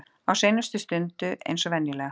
Á seinustu stundu eins og venjulega.